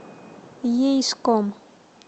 ейском